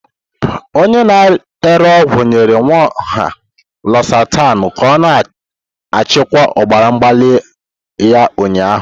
Onye na-ere ọgwụ nyere Nwaohia Lozatanu ka ọ na-achịkwa ọbara mgbali ya ụnyahụ.